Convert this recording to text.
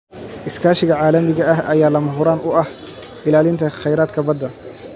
Iskaashiga caalamiga ah ayaa lama huraan u ah ilaalinta kheyraadka badda.